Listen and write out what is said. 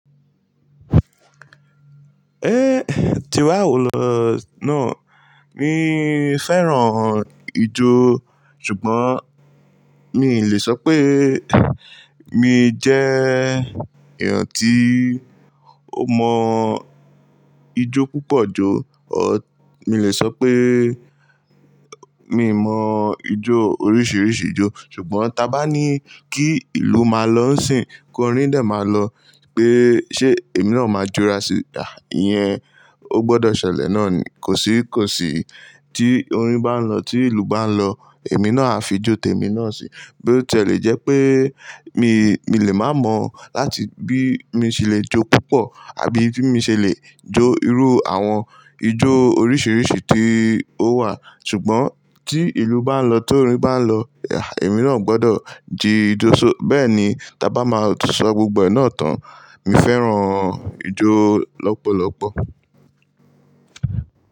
Ehn Tiwa o lo naa. Mi fẹ́ràn ijó, ṣùgbọ́n mi ì lè sọ pé mi jẹ́ èèyàn tí ó mọ ijó púpọ̀ jọ. Mi lè sọ pé mi mọ ijó oríṣiríṣi ijó. Ṣùgbọ́n ta bá ní kí ìlú máa lọ ń sìn, kó orín dà máa lọ pé ṣé èmi náà máa jura síta. Iyẹn o gbọdọ̀ ṣẹlẹ̀ náà ni. Kò sí kò sí tí orín bá ń lọ, tí ìlú bá ń lọ, èmi náà á fi jó tẹ mi náà si. Bí ó ti è lè jẹ́ pé mi, mi lè má mọ láti bí mi ṣe lè jó púpọ̀ àbí bí mi ṣe lè jó irú àwọn ijó oríṣiríṣi tí ó wà. Ṣùgbọ́n tí ìlú bá ń lọ, tó orín bá ń lọ, èmi náà gbọdọ̀ ji ijó só-- bẹ́ẹ̀ ni ta bá máa sọ gbogbo ẹnà tán. Mi fẹ́ràn ijó lọ́pọ̀lọ́pọ̀.